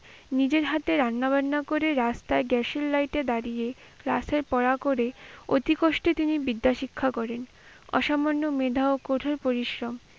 নিজের হাতে রান্না বান্না করে রাস্তায় গ্যাসের লইটে দাঁড়িয়ে, রাতের পড়া করে অতি কষ্টে তিনি বিদ্যাশিক্ষা করেন। অসামান্য মেধা ও কঠিন পরিশ্রম,